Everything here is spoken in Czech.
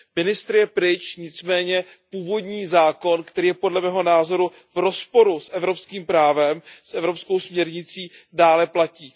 Ministr je pryč, nicméně původní zákon, který je podle mého názoru v rozporu s evropským právem, s evropskou směrnicí, dále platí.